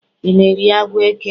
I na-eri agwọ eke?